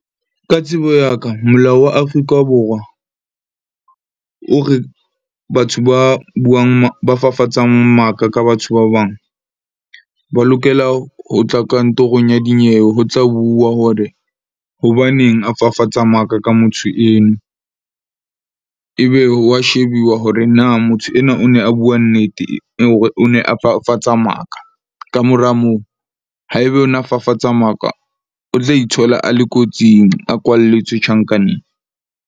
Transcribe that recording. Ka tsebo ya ka molao wa Afrika Borwa o re batho ba buang ba fafatsang maka ka batho ba bang, ba lokela ho tla kantorong ya dinyewe. Ho tla bua hore, hobaneng a fafatsa maka ka motho eno. Ebe wa shebuwa hore na motho enwa o ne a bua nnete hore o ne a fafatsa maka. Kamora moo haebe o na fafatsa maka, o tla ithola a le kotsing, a kwalletswe tjhankaneng.